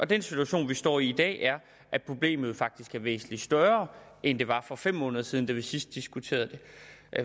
den situation vi står i i dag er at problemet faktisk er væsentlig større end det var for fem måneder siden da vi sidst diskuterede det